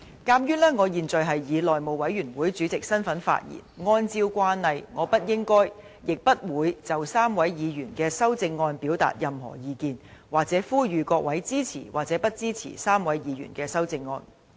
鑒於我現在是以內務委員會主席的身份發言，按照慣例我不應該、亦不會就3位議員的修正案表達任何意見，或呼籲各位支持或不支持3位議員的修正案。